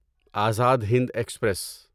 Azad Hind express